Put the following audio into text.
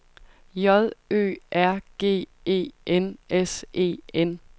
J Ø R G E N S E N